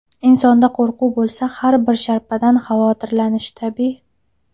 Insonda qo‘rquv bo‘lsa har bir sharpadan xavotirlanishi tabiiy.